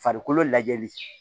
Farikolo lajɛli